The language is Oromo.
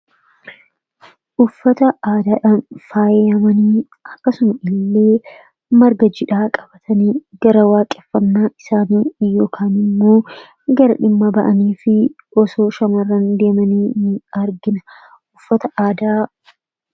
Uffata aadaadhan faayyamanii akkasuma illee marga jiidhaa qabatanii gara waaqeffannaa isaanii yookaan immoo gara dhimma ba’anii fi osoo shammarran deemanii ni argina. Uffata aadaa....